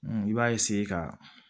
I b'a ka